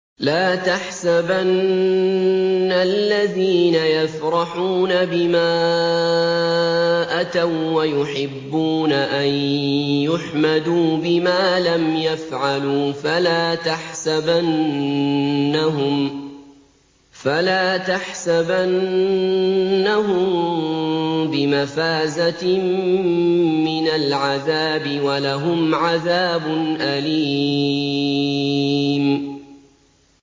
لَا تَحْسَبَنَّ الَّذِينَ يَفْرَحُونَ بِمَا أَتَوا وَّيُحِبُّونَ أَن يُحْمَدُوا بِمَا لَمْ يَفْعَلُوا فَلَا تَحْسَبَنَّهُم بِمَفَازَةٍ مِّنَ الْعَذَابِ ۖ وَلَهُمْ عَذَابٌ أَلِيمٌ